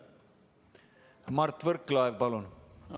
Mart Võrklaev, palun!